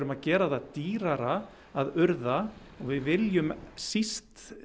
að gera það dýrara að urða og við viljum síst